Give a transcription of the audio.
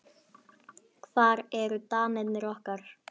Hvar eru danirnir okkar?